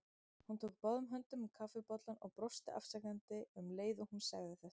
Hún tók báðum höndum um kaffibollann og brosti afsakandi um leið og hún sagði þetta.